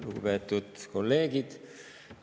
Lugupeetud kolleegid!